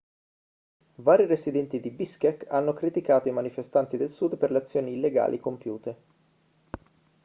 vari residenti di biškek hanno criticato i manifestanti del sud per le azioni illegali compiute